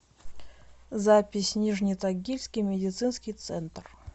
запись нижнетагильский медицинский центр